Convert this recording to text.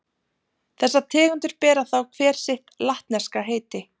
Þessar tegundir bera þá hver sitt latneska heiti.